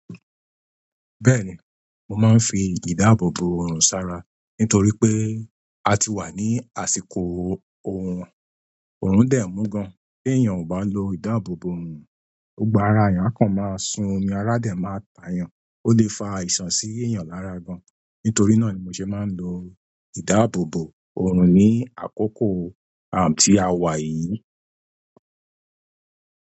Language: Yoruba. Bẹ́ẹ̀ni, mo máa ń fi ìdáàbòbò oorun sara nítorí pé a ti wà ní àsìkò oorun. Oorun dẹ̀ mú gan. Tí èèyàn kò bá lo ìdáàbòbò oorun, ogbà ara èèyàn kan máa sún omi, ara dẹ̀ máa ta èèyàn, ó lè fa àìsàn sí èèyàn lára gan. Nítorí náà ni mo ṣe máa ń lo ìdáàbòbò oorun ní àkókò àm tí a wà yìí.